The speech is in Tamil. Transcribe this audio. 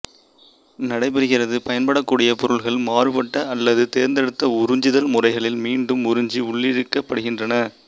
நடைபெறுகிறது பயன்படக்கூடிய பொருள்கள் மாறுபட்ட அல்லது தேர்ந்தெடுத்து உறிஞ்சுதல் முறைகளில் மீண்டும் உறிஞ்சி உள்ளிழுக்கப்படுகின்றன